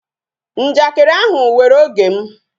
Njakịrị ahụ were oge m